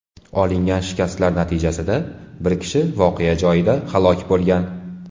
Olingan shikastlar natijasida bir kishi voqea joyida halok bo‘lgan.